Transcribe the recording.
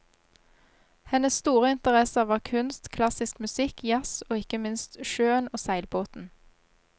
Hennes store interesser var kunst, klassisk musikk, jazz og ikke minst sjøen og seilbåten.